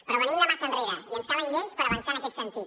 però venim de massa enrere i ens calen lleis per avançar en aquest sentit